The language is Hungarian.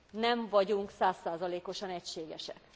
Nem vagyunk száz százalékosan egységesek.